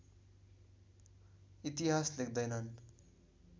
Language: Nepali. इतिहास लेख्दैनन्